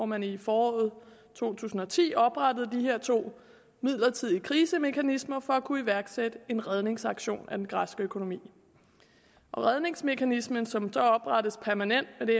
man i foråret to tusind og ti oprettede de her to midlertidige krisemekanismer for at kunne iværksætte en redningsaktion af den græske økonomi og redningsmekanismen som så oprettes permanent med det